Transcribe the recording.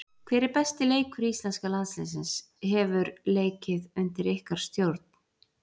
Hver er besti leikur íslenska landsliðsins hefur leikið undir ykkar stjórn?